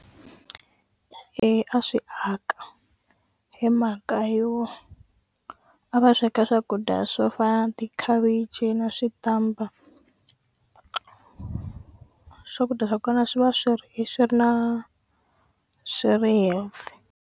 Eya, a swi aka hi mhaka yo a va sweka swakudya swo fana tikhavichi na switampa swakudya swa kona swi va swi ri swi ri na swi ri healthy.